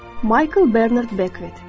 Maykl Bernard Bekvet.